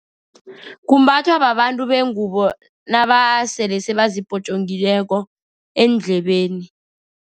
Kumbathwa babantu bengubo nabasele sebazipotjongileko eendlebeni.